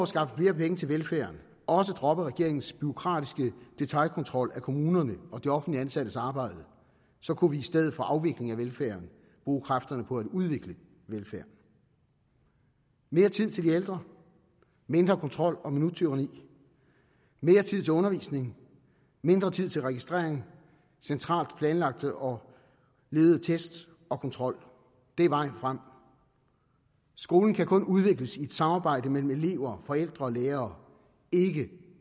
skaffe flere penge til velfærden også droppede regeringens bureaukratiske detailkontrol af kommunerne og de offentlig ansattes arbejde så kunne vi i stedet for afvikling af velfærden bruge kræfterne på at udvikle velfærden mere tid til de ældre mindre kontrol og minuttyranni mere tid til undervisning mindre tid til registrering centralt planlagte og ledede test og kontrol det er vejen frem skolen kan kun udvikles i et samarbejde mellem elever forældre og lærere ikke